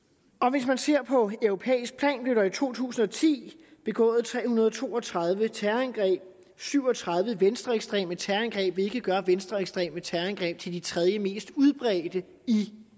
hvis man ser det på europæisk plan blev der i to tusind og ti begået tre hundrede og to og tredive terrorangreb og syv og tredive var venstreekstreme terrorangreb hvilket gør venstreekstreme terrorangreb til de tredjemest udbredte i